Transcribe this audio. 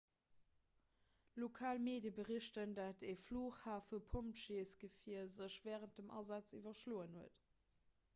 lokal medie berichten datt e flughafepompjeesgefier sech wärend dem asaz iwwerschloen huet